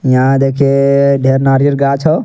यहां देखे अअ ढ़ेर नारियर गाछ हौ।